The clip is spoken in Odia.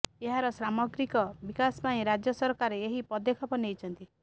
ଏହାର ସାମଗ୍ରିକ ବିକାଶ ପାଇଁ ରାଜ୍ୟସରକାର ଏହି ପଦକ୍ଷେପ ନେଇଛନ୍ତି